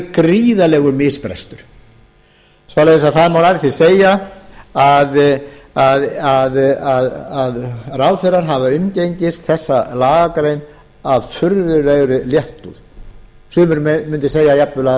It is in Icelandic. gríðarlegur misbrestur svo það má nærri því segja að ráðherrar hafa umgengist þessa lagagrein af furðulegri léttúð sumir mundu segja jafnvel að